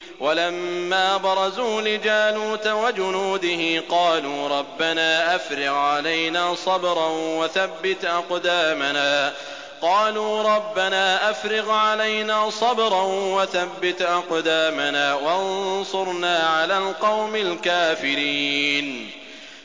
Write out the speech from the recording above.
وَلَمَّا بَرَزُوا لِجَالُوتَ وَجُنُودِهِ قَالُوا رَبَّنَا أَفْرِغْ عَلَيْنَا صَبْرًا وَثَبِّتْ أَقْدَامَنَا وَانصُرْنَا عَلَى الْقَوْمِ الْكَافِرِينَ